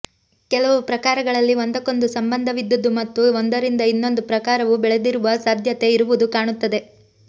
ಕೆಲವು ಪ್ರಕಾರಗಳಲ್ಲಿ ಒಂದಕ್ಕೊಂದು ಸಂಬಂಧವಿದ್ದುದು ಮತ್ತು ಒಂದರಿಂದ ಇನ್ನೊಂದು ಪ್ರಕಾರವು ಬೆಳೆದಿರುವ ಸಾಧ್ಯತೆ ಇರುವುದು ಕಾಣುತ್ತದೆ